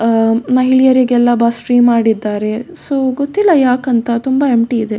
ಅಹ್ ಮಹಿಳೆಯರಿಗೆಲ್ಲ bus free ಮಾಡಿದ್ದಾರೆ so ಗೊತ್ತಿಲ್ಲ ಯಾಕ್ ಅಂತ ತುಂಬ ಎಂಪ್ಟಿ ಇದೆ.